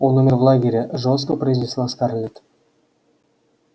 он умер в лагере жёстко произнесла скарлетт